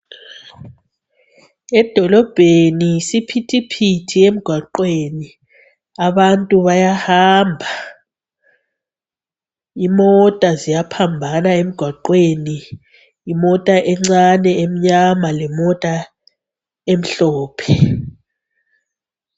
Edolobheni, yisiphithiphithi emgwaqweni, abantu bayahamba. Imota ziyaphambana emgwaqweni. Imota encane emnyama lemota emhlophe.